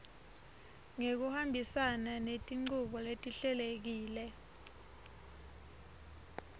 ngekuhambisana netinchubo letihlelekile